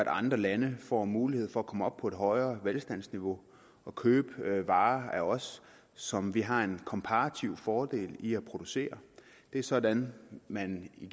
andre lande får mulighed for at komme op på et højere velstandsniveau og købe varer af os som vi har en komparativ fordel i at producere det er sådan man i